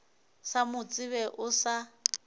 sa mo tsebe o sa